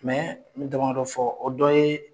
Mɛ n bɛ dama dɔ fɔ o dɔ ye